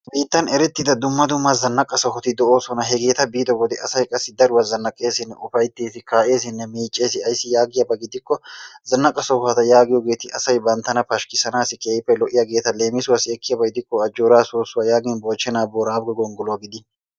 Biittan erettida dumma dumma zannaqa sohoti de'oosona. Hegeeta biido wode asay qassi daruwan zannaqqessinne ufayttees. Kaa'essinne miiccees. Ayssi yaagiyaaba gidiko zanaqa sohota giyoogeeti asaa bantta pashkkissanassi keehippe lo"iyaageeta leemisuwassi ekkiyaaba gidikko Ajjoora soosuwaa yagiyo, Moochchena Boorago gonggoluwa gidin